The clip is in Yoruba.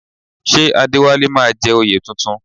Ṣé Adéwálé máa jẹ oyè tuntun?